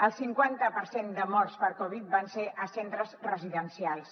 el cinquanta per cent de morts per covid van ser a centres residencials